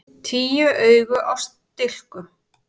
Tíu augu á stilkum!